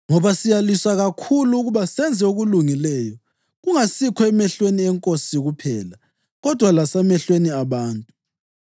Ngoba siyalwisa kakhulu ukuba senze okulungileyo, kungasikho emehlweni eNkosi kuphela, kodwa lasemehlweni abantu.